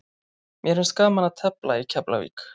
Mér finnst gaman að tefla í Keflavík.